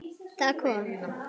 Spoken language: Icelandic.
Það kom